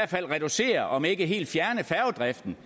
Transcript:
reducere om ikke helt fjerne færgedriften